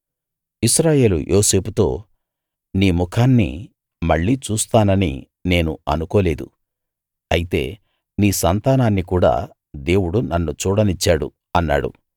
ఇశ్రాయేలు యోసేపుతో నీ ముఖాన్ని మళ్ళీ చూస్తానని నేను అనుకోలేదు అయితే నీ సంతానాన్ని కూడా దేవుడు నన్ను చూడనిచ్చాడు అన్నాడు